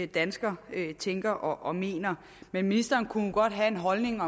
dansker tænker og mener men ministeren kunne nu godt have en holdning